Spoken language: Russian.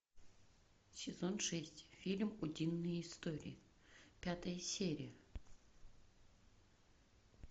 сезон шесть фильм утиные истории пятая серия